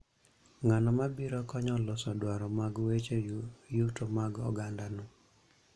Ng'ano mabiro konyo loso dwaro mag weche yuto mag ogandano